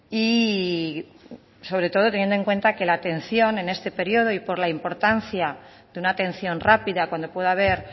y sobre todo teniendo en cuenta que la atención en este periodo y por la importancia de una atención rápida cuando puede haber